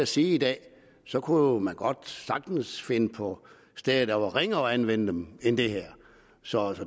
sige i dag at så kunne man sagtens finde på steder der var ringere at anvende dem end det her så